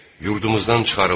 Yurdumuzdan çıxarıldıq.